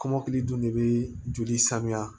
Kɔmɔkili dun de bɛ joli sanuya